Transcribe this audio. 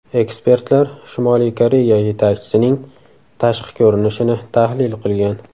Ekspertlar Shimoliy Koreya yetakchisining tashqi ko‘rinishini tahlil qilgan.